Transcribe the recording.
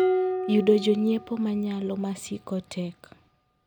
yudo jonyiepo manyalo masiko tek.